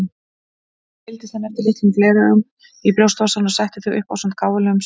Svo seildist hann eftir litlum gleraugum í brjóstvasann og setti þau upp ásamt gáfulegum svip.